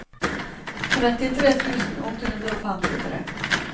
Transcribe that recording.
trettitre tusen åtte hundre og femtitre